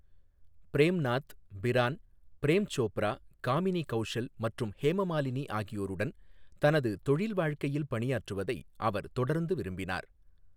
Frame Nath, Pran, Prem Chopra, Kamini Kaushal மற்றும் ஹேமமாலினி ஆகியோருடன் தனது தொழில் வாழ்க்கையில் பணியாற்றுவதை அவர் தொடர்ந்து விரும்பினார்.